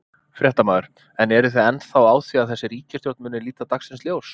Fréttamaður: En eru þið ennþá á því að þessi ríkisstjórn muni líta dagsins ljós?